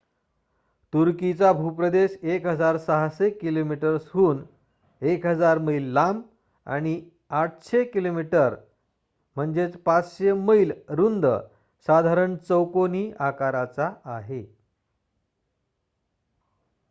तुर्कीचा भूप्रदेश 1,600 किलोमीटर्सहून 1,000 मैल लांब आणि 800 किमी 500 मैल रुंद साधारण चौकोनी आकाराचा आहे